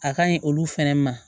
A ka ɲi olu fɛnɛ ma